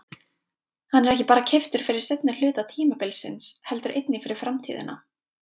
Hann er ekki bara keyptur fyrir seinni hluta tímabilsins heldur einnig fyrir framtíðina.